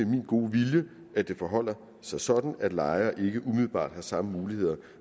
min gode vilje at det forholder sig sådan at lejere ikke umiddelbart har samme muligheder